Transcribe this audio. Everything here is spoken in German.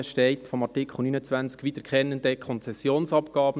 In der Marginalie von Artikel 29 steht: «Wiederkehrende Konzessionsabgaben».